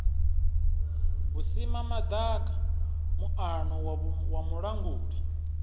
vhusimama ḓaka muano wa mulanguli